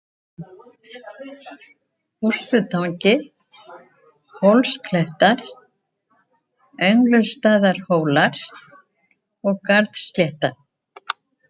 Bússutangi, Hólsklettar, Öngulsstaðahólar, Garðslétta